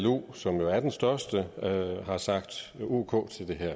llo som jo er den største har sagt ok til det her